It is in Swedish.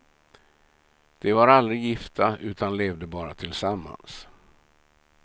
De var aldrig gifta utan levde bara tillsammans.